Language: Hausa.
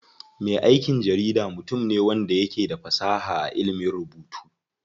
Me aikin jarida mutum ne wanda yake da fasaha a ilimin rubutu.